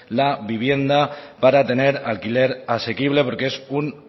la vivienda para tener alquiler asequible porque es un